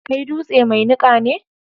Kai dutse mai niƙa ne.